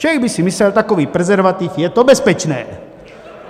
Člověk by si myslel, takový prezervativ, je to bezpečné.